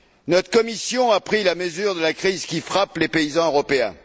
Notre commission a pris la mesure de la crise qui frappe les paysans européens.